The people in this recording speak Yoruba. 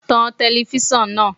Tan telifíṣàn náà.